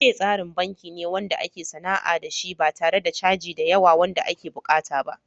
Opay tsarin banki ne wanda ake sana'a da shi ba tare da caji da yawa wanda ake buƙata ba.